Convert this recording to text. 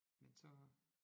Men så